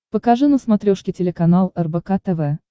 покажи на смотрешке телеканал рбк тв